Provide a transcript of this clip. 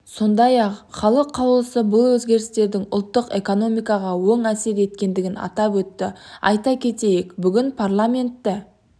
сондай-ақ халық қалаулысы бұл өзгерістердің ұлттық экономикаға оң әсер еткендігін атап өтті айта кетейік бүгін парламенті